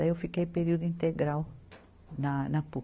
Daí eu fiquei período integral na, na Puc.